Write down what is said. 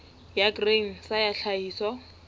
ya grain sa ya tlhahiso